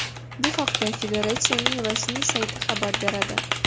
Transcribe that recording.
Bu haqda federatsiyaning rasmiy sayti xabar beradi .